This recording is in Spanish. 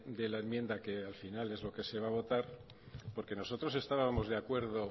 de la enmienda que al final es lo que se va a votar porque nosotros estábamos de acuerdo